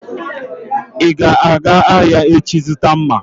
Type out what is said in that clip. Ị ga-aga ahịa echi zụta mma!